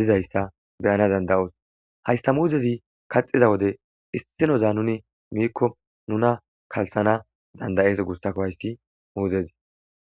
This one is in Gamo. dizaysa beyana danda'os. Haysa muzez kaxida wode issinoza nuni Miko nuna kalthana danda'es gusako hays muzez.